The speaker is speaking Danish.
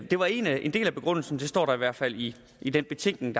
det var en del af begrundelsen det står der i hvert fald i i den betænkning